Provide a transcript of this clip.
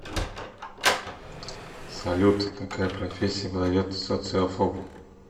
салют какая профессия подойдет социофобу